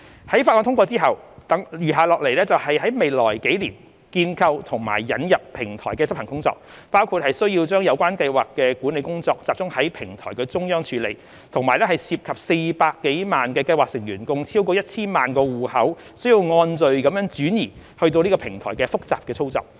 在法案通過後，餘下來的就是在未來數年建構及引入平台的執行工作，包括需要把有關計劃管理工作集中於平台中央處理，並涉及400多萬計劃成員共超過 1,000 萬個戶口須按序轉移至平台的複雜操作。